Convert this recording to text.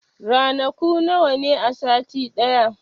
Ranaku nawa ne a sati ɗaya?